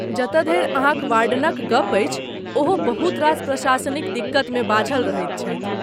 जतऽ धरि अहाँक वार्डनक गप अछि ओहो बहुत रास प्रशासनिक दिक्कतमे बाझल रहैत छथि।